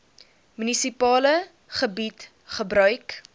munisipale gebied gebruik